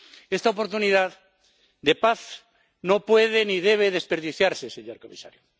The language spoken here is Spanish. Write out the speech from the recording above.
Esta oportunidad de paz no puede ni debe desperdiciarse, señor comisario.